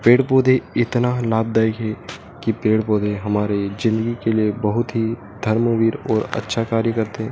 पेड़-पौधे इतना लाभदायक है कि पेड़-पौधे हमारे जिंदगी के लिए बहोत ही धर्मवीर और अच्छा कार्य करते हैं।